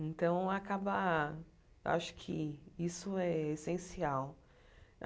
Então, acaba acho que isso é essencial.